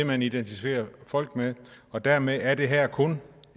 man identificerer folk på og dermed er det her kun